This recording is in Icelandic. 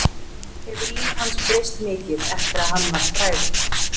En hefur líf hans breyst mikið eftir að hann varð frægur?